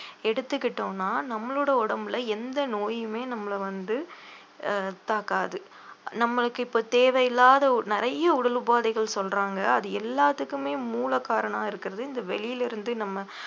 எடுத்துக்கிட்டோம்ன்னா நம்மளோட உடம்புல எந்த நோயுமே நம்மளை வந்து அஹ் தாக்காது நம்மளுக்கு இப்போ தேவையில்லாத ஒ~ நிறைய உடல் உபாதைகள் சொல்றாங்க அது எல்லாத்துக்குமே மூலகாரணா இருக்கிறது இந்த வெளியிலே இருந்து நம்ம